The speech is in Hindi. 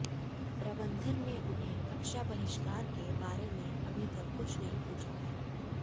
प्रबंधन ने उन्हें कक्षा बहिष्कार के बारे में अभी तक कुछ नहीं पूछा है